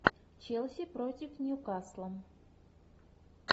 челси против ньюкасла